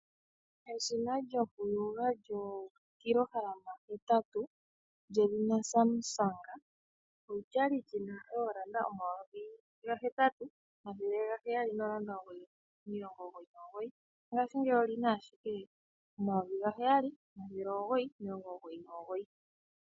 Eshina lyo ku yoga lyo 80Kg, lyedhina Samsung olyali lina N$8799, ngaashingeyi olina ashika N$7999.